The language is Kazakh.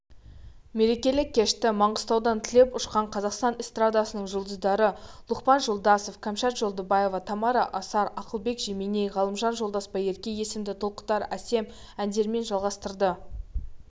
мерекелік кешті маңғыстаудан түлеп ұшқан қазақстан эстрадасының жұлдыздары лұқпан жолдасов кәмшат жолдыбаева тамара асар ақылбек жеменей ғалымжан жолдасбайерке есілді толқытарәсем әндеріменжалғастырды